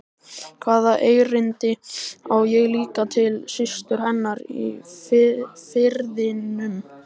Hvaða erindi á ég líka til systur hennar í Firðinum?